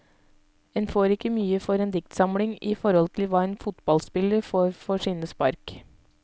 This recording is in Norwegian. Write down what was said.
En får ikke mye for en diktsamling i forhold til hva en fotballspiller får for sine spark.